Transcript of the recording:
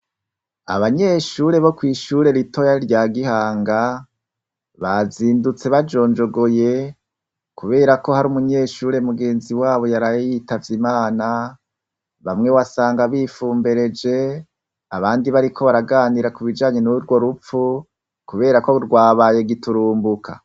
Abanyeshure bo kw'Ishure ritoya rya Gihanga, bazindutse bajonjogoye, kuberako hari Umunyeshure mugenzi wabo yaraye yitavye Imana, bamwe wasanga bifumbereje, abandi bariko baraganira kubijanye nurwo ruphu, kuberako rwabaye giturumbuka.